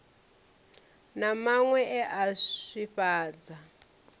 na maṅwe e a swifhadza